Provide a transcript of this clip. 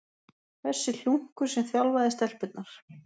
Þessi hlunkur sem þjálfaði stelpurnar!